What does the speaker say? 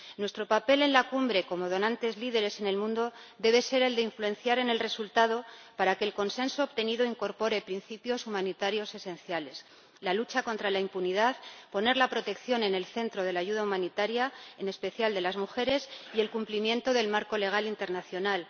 Nuestro papel en la Cumbre, como donantes líderes en el mundo, debe ser el de influir en el resultado para que el consenso obtenido incorpore principios humanitarios esenciales la lucha contra la impunidad, poner la protección, en especial de las mujeres, en el centro de la ayuda humanitaria y el cumplimiento del marco legal internacional.